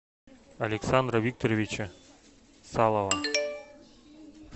александра викторовича салова